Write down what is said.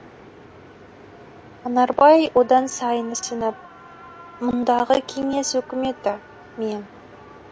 анарбай одан сайын ісініп мұндағы кеңес өкіметі мен